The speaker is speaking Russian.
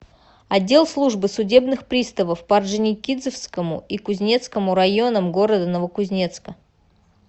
отдел службы судебных приставов по орджоникидзевскому и кузнецкому районам г новокузнецка